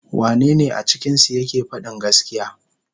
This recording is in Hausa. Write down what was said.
Wanne ne a cikinsu yake fadin gaskiya.